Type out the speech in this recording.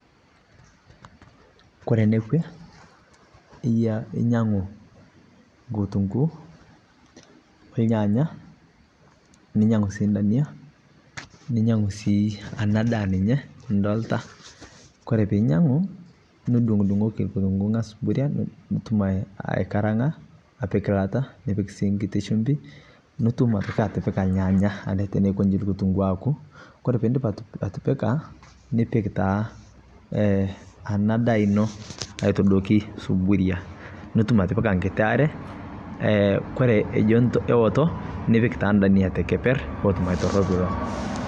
Ore enekue inyiangu nkutunkuu ornyanya ninyiangu sii indania, ninyiangu sii ena daa ninye nidolita. Ore peyie inyiangu, nidungudungoki nkitunguu angas suburia, nitum aikaranga apik ilata nipik sii nkiti sumbi nitum ade atipika ilnyanya teneidip nkutunguu aaku. Ore pee iindip atipika, nipik taa eee ena daa ino aitadoiki suburia. Nipik aitoki nkiti are kore ejo mewoto nipik naa ndania tekeper pee etum aitoropilo.